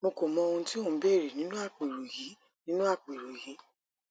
mo kò mọ ohun tí o ń béèrè nínú àpérò yìí nínú àpérò yìí